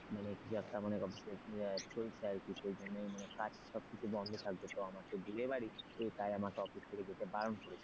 মানে মানে শরীরটা আরকি সেই জন্যই মানে কাজ সবকিছু বন্ধ থাকবে তো আমার তো বিয়ে বাড়ি তাই আমাকে office থেকে যেতে বারণ করেছে।